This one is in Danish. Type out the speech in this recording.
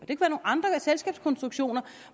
i andre selskabskonstruktioner